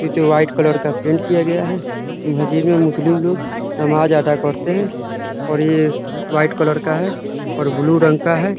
ये जो white colour का पेंट किया गया है। इस मस्जिद में मुस्लिम लोग नमाज अदा करते हैं और ये वाइट कलर का है और ब्लू रंग का है।